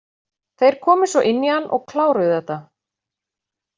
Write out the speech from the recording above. Þeir komu svo inn í hann og kláruðu þetta.